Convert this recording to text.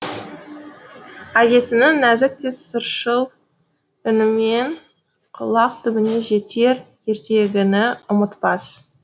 әжесінің нәзік те сыршыл үнімен құлақ түбіне жетер ертегіні ұмытпас